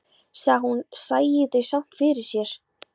Sagði að hún sæi þau samt fyrir sér.